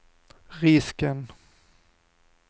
risken